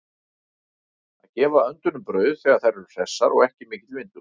Að gefa öndunum brauð þegar þær eru hressar og ekki mikill vindur úti.